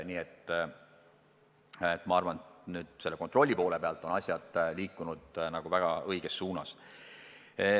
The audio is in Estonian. Nii et ma arvan, et selle kontrolli poole pealt vaadates on asjad liikunud väga õiges suunas.